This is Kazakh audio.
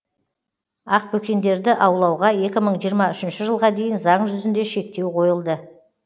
ақбөкендерді аулауға екі мың жиырма үшінші жылға дейін заң жүзінде шектеу қойылды